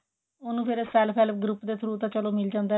ਉਹਨੂੰ ਫੇਰ self help group ਦੇ through ਚਲੋ ਮਿਲ ਜਾਂਦਾ loan